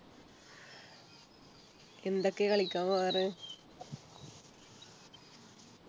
എന്തൊക്കെയാ കളിയ്ക്കാൻ പോകാറ്